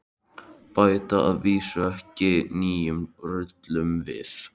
Bæta að vísu ekki nýjum rullum við.